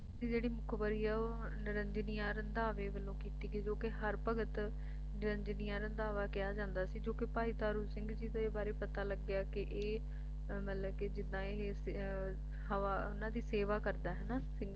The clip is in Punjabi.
ਭਾਈ ਤਾਰੂ ਦੀ ਜਿਹੜੀ ਮੁਖਬਰੀ ਆ ਉਹ ਨਿਰੰਜਿਨੀ ਯਾ ਰੰਧਾਵੇ ਵੱਲੋਂ ਕੀਤੀ ਗਈ ਕਿਉਂਕਿ ਹਰ ਭਗਤ ਨਿਰੰਜਿਨੀਆ ਰੰਧਾਵਾ ਕਿਹਾ ਜਾਂਦਾ ਸੀ ਜੋ ਕਿ ਭਾਈ ਤਾਰੂ ਸਿੰਘ ਜੀ ਦੇ ਬਾਰੇ ਪਤਾ ਲੱਗਿਆ ਕਿ ਇਹ ਮਤਲਬ ਕਿ ਜਿੱਦਾਂ ਇਹ ਹਵਾ ਉਨ੍ਹਾਂ ਦੀ ਸੇਵਾ ਕਰਦਾ ਹੈ ਸਿੰਘਾਂ ਦੀ ਸੇਵਾ ਕਰਦਾ